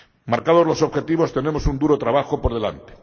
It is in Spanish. Marcados los objetivos tenemos un duro trabajo por delante.